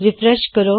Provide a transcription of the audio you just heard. refresh ਕਰੋ